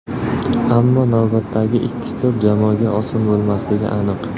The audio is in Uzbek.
Ammo navbatdagi ikki tur jamoaga oson o‘tmasligi aniq.